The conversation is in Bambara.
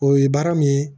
O ye baara min ye